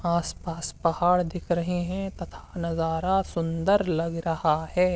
आस-पास पहाड़ दिख रहे हैं तथा नजारा सुंदर लग रहा है।